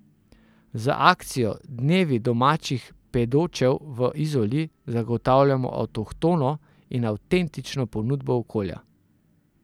Z akcijo Dnevi domačih pedočev v Izoli zagotavljamo avtohtono in avtentično ponudbo okolja.